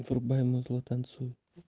врубай музло танцуй